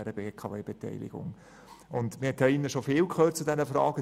Hier im Grossen Rat hat man schon viel zu dieser Frage gehört.